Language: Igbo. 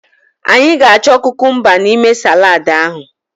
Anyị ga-achọ kukumba n'ime saladu ahụ.